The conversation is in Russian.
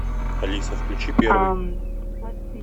алиса включи первый